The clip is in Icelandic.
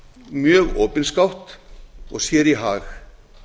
mjög opinskátt og sér í hag